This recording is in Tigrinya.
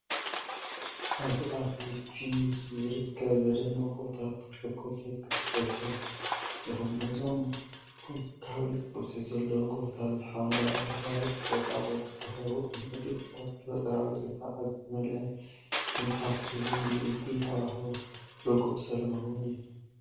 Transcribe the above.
ኣብዚ ኣብ ፊሊፒንስ ዝርከቡ ዘደንቑ ጎቦታት ቸኮሌት ክትዕዘቡ ትኽእሉ ኢኹም። እዞም ኮኒካዊ ቅርጺ ዘለዎም ጎቦታት ብሓምለዋይ ኣግራብን ቁጥቋጥን ዝተኸበቡ እዮም። እቲ ቦታ ብተፈጥሮኣዊ ጽባቐ ዝተመልአን ትንፋስ ዝህብን እዩ። እቲ ሃዋህው ርጉእን ሰላማውን እዩ።